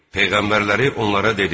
Peyğəmbərləri onlara dedi: